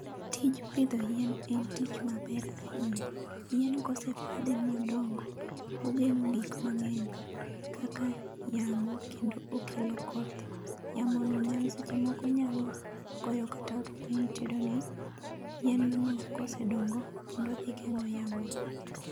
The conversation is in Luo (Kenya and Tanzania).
Tij pidho yien en tich maber ahinya. Yien kosepidhe modongo, ogeng'o gik mang'eny kaka yamo kendo okelo koth. Yamono nyalo seche moko nyalo goyo kata ot piny to iyudo ni yien no kosedongo kendo odhi geng'o yamono.